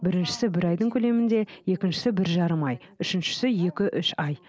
біріншісі бір айдың көлемінде екіншісі бір жарым ай үшіншісі екі үш ай